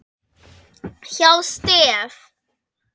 hjá STEF.